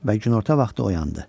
Və günorta vaxtı oyandı.